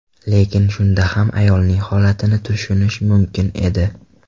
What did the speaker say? Lekin shunda ham ayolning holatini tushunish mumkin edi.